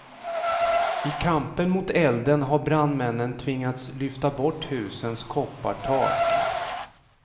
I kampen mot elden har brandmännen tvingats lyfta bort husens koppartak.